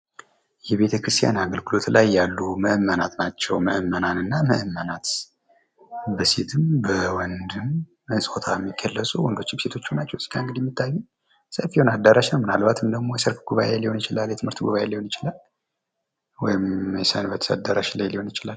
የቤተክርስቲያን አገልግሎት ላይ ያሉ ምዕመናን እና ምዕመናት ናቸው። ሴቶችም ወንዶችም ይገኛሉ።